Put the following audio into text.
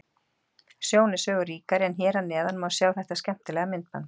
Sjón er sögu ríkari en hér að neðan má sjá þetta skemmtilega myndband.